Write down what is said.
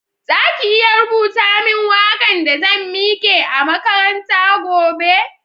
Za ki iya rubuta min waka'n da zan mike a'makaranta gobe?